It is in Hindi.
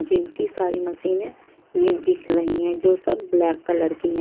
जिम की सारी मशीन ये दिख रही है जो सब ब्लैक कलर की है।